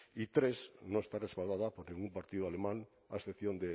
y tres no está respaldada porque ningún partido alemán a excepción